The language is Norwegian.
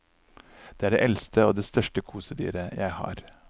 Det er det eldste og det største kosedyret jeg har.